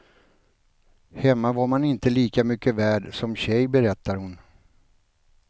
Hemma var man inte lika mycket värd som tjej, berättar hon.